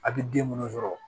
A bɛ den munnu sɔrɔ